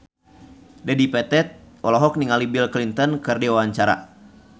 Dedi Petet olohok ningali Bill Clinton keur diwawancara